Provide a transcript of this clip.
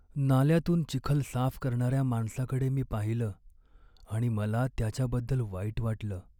नाल्यातून चिखल साफ करणाऱ्या माणसाकडे मी पाहिलं आणि मला त्याच्याबद्दल वाईट वाटलं.